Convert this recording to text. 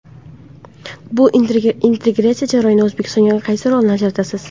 Bu integratsiya jarayonida O‘zbekistonga qaysi rolni ajratasiz?